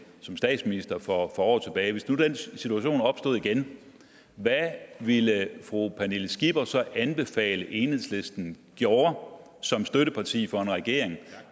som statsminister for år tilbage opstod igen hvad ville fru pernille skipper så anbefale at enhedslisten gjorde som støtteparti for en regering